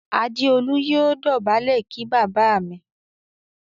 Adeolu yóò dobale kí bàbá mí.